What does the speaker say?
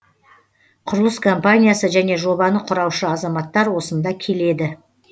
құрылыс компаниясы және жобаны құраушы азаматтар осында келеді